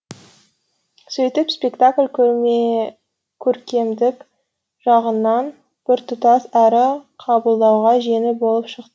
сөйтіп спектакль көркемдік жағынан біртұтас әрі қабылдауға жеңіл болып шықты